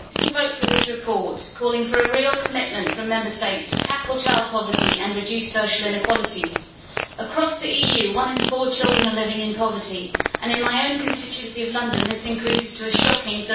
Mr President, I am pleased to vote for this report calling for a real commitment from Member States to tackle child poverty and reduce social inequalities. Across the EU, one in four children are living in poverty, and in my own constituency of London this increases to a shocking